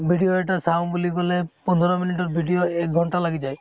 video এটা চাওঁ বুলি কলে পন্ধৰ মিনিটৰ video এক ঘন্টা লাহি যায়